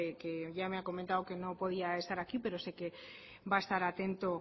que ya me ha comentado que no podía estar aquí pero sé que va a estar atento